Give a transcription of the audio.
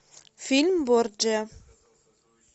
фильм борджиа